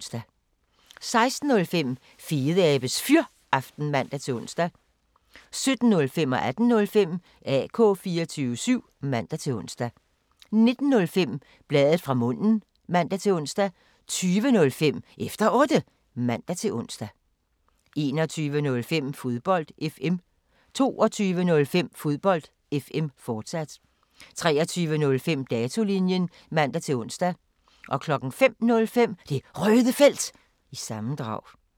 16:05: Fedeabes Fyraften (man-ons) 17:05: AK 24syv (man-ons) 18:05: AK 24syv (man-ons) 19:05: Bladet fra munden (man-ons) 20:05: Efter Otte (man-ons) 21:05: Fodbold FM 22:05: Fodbold FM, fortsat 23:05: Datolinjen (man-ons) 05:05: Det Røde Felt – sammendrag